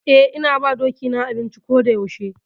Eh, ina ba doki na abinci ko da yaushe.